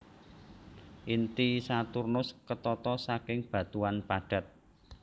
Inti Saturnus ketata saking batuan padat